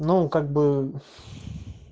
ну как бы